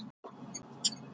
Guðrún gerðist mælsk mjög.